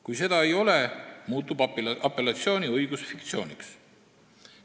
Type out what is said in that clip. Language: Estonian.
Kui seda ei ole, muutub apellatsiooniõigus fiktsiooniks.